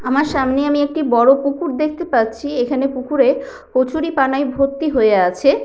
আমার সামনে আমি একটি বড় পুকুর দেখতে পাচ্ছি। এখানে পুকুরে কচুরিপানায় ভর্তি হয়ে আছে।